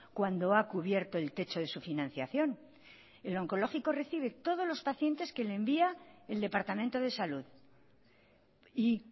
cuando ha cubierto el techo de su financiación el oncológico recibe todos los pacientes que le envía el departamento de salud y